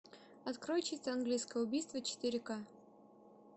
открой чисто английское убийство четыре к